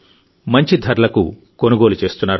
మంచి ధరలకు కొనుగోలు చేస్తున్నారు